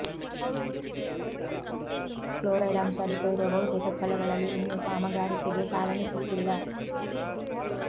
fluoride ಅಂಶ ಅಧಿಕವಿರುವ ಬಹುತೇಕ ಸ್ಥಳಗಳಲ್ಲಿ ಇನ್ನೂ ಕಾಮಗಾರಿಗೆ ಚಾಲನೆ ಸಿಕ್ಕಿಲ್ಲ